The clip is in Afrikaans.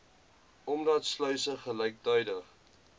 omdat sluise gelyktydig